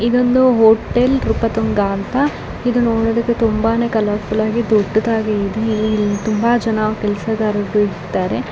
ಇದು ಒಂದು ಹೋಟೆಲ್ ನೃಪತುಂಗ ಅಂತ ನೋಡಲು ತುಂಬಾ ದೊಡ್ಡದಾಗಿದೆ . ಇಲಿ ತುಂಬಾ ಕೆಲಸಗಾರ ರಿದ್ದಾರೆ .